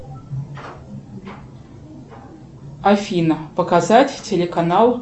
афина показать телеканал